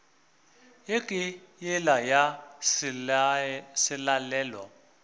ye ke yela ya selalelo